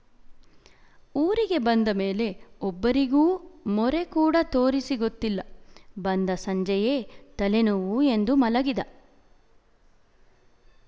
ಊರಿಗೆ ಬಂದ ಮೇಲೆ ಒಬ್ಬರಿಗೂ ಮೊರೆ ಕೂಡ ತೂರಿಸಿ ಗೊತ್ತಿಲ್ಲ ಬಂದ ಸಂಜೆಯೇ ತಲೆ ನೋವು ಎಂದು ಮಲಗಿದ